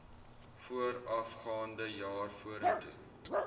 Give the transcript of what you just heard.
voorafgaande jaar vorentoe